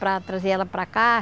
Para trazer ela para cá.